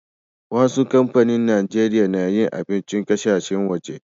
Wassu kampanin Nijeriya na yin abincin ƙasashen waje.